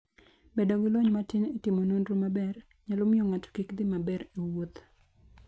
Bedo gi lony matin e timo nonro maber, nyalo miyo ng'ato kik dhi maber e wuoth.